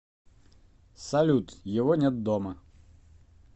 салют его нет дома